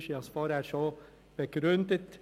Ich habe es vorhin schon begründet.